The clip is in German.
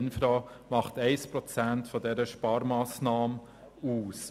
Infra macht 1 Prozent dieser Sparmassnahme aus.